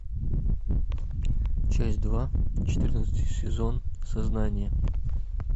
часть два четырнадцатый сезон сознание